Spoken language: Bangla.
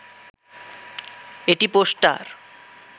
এটি পোস্টার